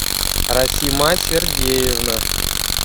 расима сергеевна